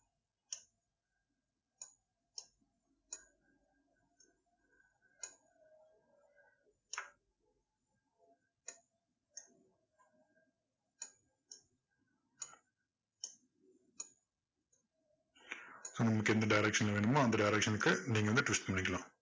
நமக்கு எந்த direction ல வேணுமோ அந்த direction க்கு நீங்க வந்து twist பண்ணிக்கலாம்.